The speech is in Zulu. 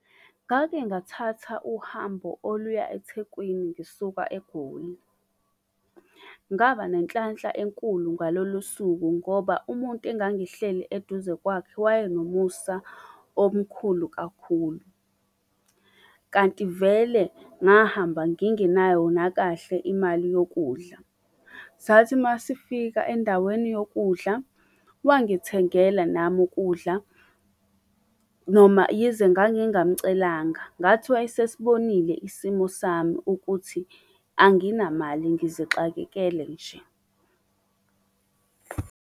Ngake ngathatha uhambo oluya eThekwini ngisuka eGoli. Ngaba nenhlanhla enkulu ngalolusuku ngoba umuntu engangihleli eduze kwakhe waye nomusa omkhulu kakhulu. Kanti vele ngahamba ngingenayo nakahle imali yokudla. Sathi masifika endaweni yokudla, wangithengela nami ukudla, noma yize ngangingamcelanga, ngathi wayesesbonile isimo sami ukuthi anginamali ngizixakekele nje.